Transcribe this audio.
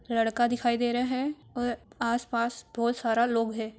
लड़का दिखाई दे रहा है और आसपास बहोत सारा लोग है।